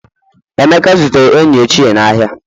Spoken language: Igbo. emeka zutere enyi ochie n'ahịa